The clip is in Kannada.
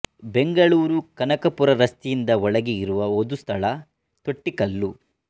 ಬೆಂಗಳೂರು ಕನಕಪುರ ರಸ್ತೆಯಿಂದ ಒಳಗೆ ಇರುವ ಒದು ಸ್ಥಳ ತೊಟ್ಟಿಕಲ್ಲು